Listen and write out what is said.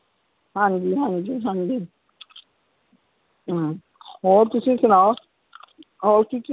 ਹਾਂਜੀ ਹਾਂਜੀ ਹਾਂਜੀ ਹਾਂ ਹੋਰ ਤੁਸੀਂ ਸੁਣਾਓ ਹੋਰ